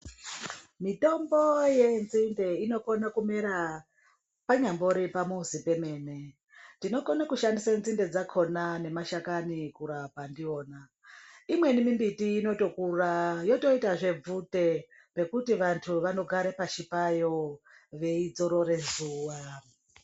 Mitombo yenzinde inokone kumera panyambori pamuzi pemene. Tinokone kushandise nzinde dzakhona nemashakani kurapa ndiwona. Imweni mimbiti inotokura yotoitazve bvute rekuti vantu vanogare pashi payo, veidzorore zuwa.